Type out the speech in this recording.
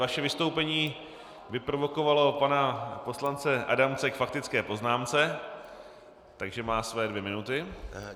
Vaše vystoupení vyprovokovalo pana poslance Adamce k faktické poznámce, takže má své dvě minuty.